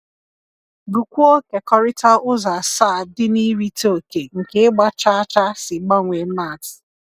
Gụọkwuo Kekọrịta Ụzọ Asaa dị na Irite Oke nke Ịgba Chaa Chaa si Gbanwee Maths